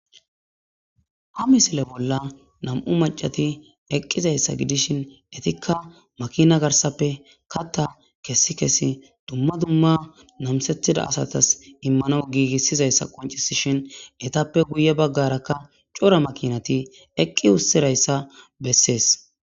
Ha misile bolla nam'u macati eqqizayssa gidishin etikka makina garsappe katta kessi kesi dumma dumma namsettida asatas immano giigissizayssa qoncisishin etappe guye baggarakka cora makinati eqqi ussirayssa bessees.